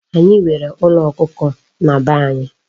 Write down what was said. Anyi nwere Ulo Okuko na be anyi